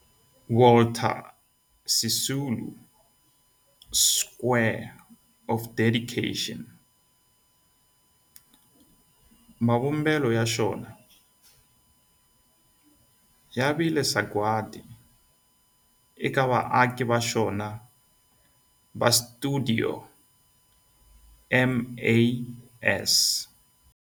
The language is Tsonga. Walter Sisulu Square of Dedication, mavumbelo ya xona ya vile sagwadi eka vaaki va xona va stuidio MAS.